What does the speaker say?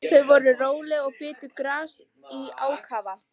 Þau voru róleg og bitu gras í ákafa.